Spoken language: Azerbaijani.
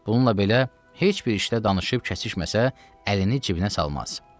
Bununla belə, heç bir işdə danışıb kəsişməsə, əlini cibinə salmaz.